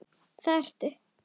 Það ertu.